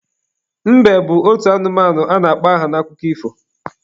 Mbe bụ otu anụmanụ a na-akpọ aha n'akụkọ ifo.